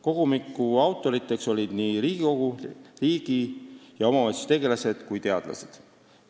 Kogumiku autorid on Riigikogu liikmed ning riigi- ja omavalitsustegelased, samuti teadlased.